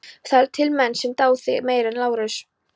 Það eru til menn sem dá þig meira en Lárus.